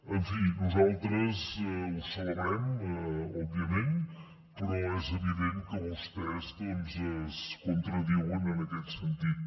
en fi nosaltres ho celebrem òbviament però és evident que vostès doncs es contradiuen en aquest sentit